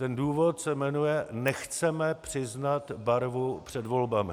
Ten důvod se jmenuje - nechceme přiznat barvu před volbami.